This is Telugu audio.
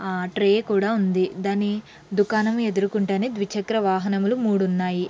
ఆ ట్రె క్కూడా ఉంది. దాని దుకాణం ఎదురు గుండానే ద్విచక్ర వాహనములు మూడు ఉన్నాయ్.